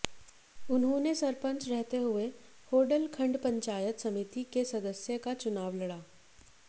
उन्होंने सरपंच रहते हुए होडल खंड पंचायत समिति के सदस्य का चुनाव लड़ा